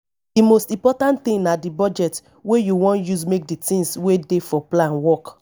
di most important thing na di budget wey you wan use make di things wey dey for plan work